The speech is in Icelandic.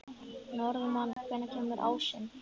Norðmann, hvenær kemur ásinn?